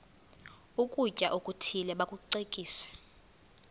ukutya okuthile bakucekise